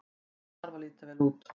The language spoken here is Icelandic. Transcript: Hann þarf að líta vel út.